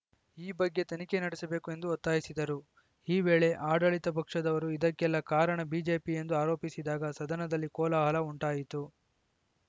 ಈ ಬಗ್ಗೆ ತನಿಖೆ ನಡೆಸಬೇಕು ಎಂದು ಒತ್ತಾಯಿಸಿದರು ಈ ವೇಳೆ ಆಡಳಿತ ಪಕ್ಷದವರು ಇದಕ್ಕೆಲ್ಲಾ ಕಾರಣ ಬಿಜೆಪಿ ಎಂದು ಆರೋಪಿಸಿದಾಗ ಸದನದಲ್ಲಿ ಕೋಲಾಹಲ ಉಂಟಾಯಿತು